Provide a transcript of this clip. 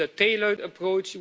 We need a tailored approach.